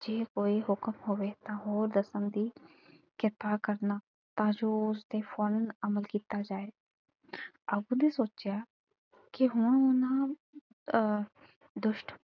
ਜੇ ਕੋਈ ਹੁਕਮ ਹੋਵੇ ਤਾਂ ਉਹ ਦੱਸਣ ਦੀ ਕਿਰਪਾ ਕਰਨਾ ਤਾਂ ਜੋ ਉਸਤੇ ਫੌਰਨ ਅਮਲ ਕੀਤਾ ਜਾਏ। ਅੱਬੂ ਨੂੰ ਸੋਚਿਆ ਕਿ ਹੁਣ ਨਾ ਅਹ ਦੁਸ਼ਟ,